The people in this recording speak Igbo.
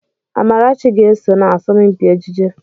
Amarachi ga-eso na asọmpi ejije.